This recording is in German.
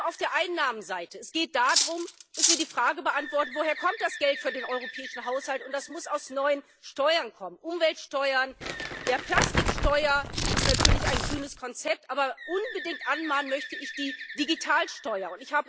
Vor allem auf der Einnahmenseite Es geht darum, dass wir die Frage beantworten, woher das Geld für den europäischen Haushalt kommt. Das muss aus neuen Steuern kommen Umweltsteuern, der Plastiksteuer ist natürlich ein grünes Konzept, aber unbedingt anmahnen möchte ich die Digitalsteuer.